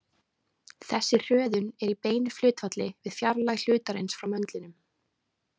Þessi hröðun er í beinu hlutfalli við fjarlægð hlutarins frá möndlinum.